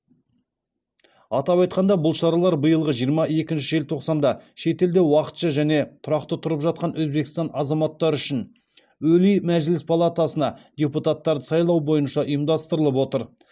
атап айтқанда бұл шаралар биылғы жиырма екінші желтоқсанда шетелде уақытша және тұрақты тұрып жатқан өзбекстан азаматтары үшін өлий мәжіліс палатасына депутаттарды сайлау бойынша ұйымдастырылып отыр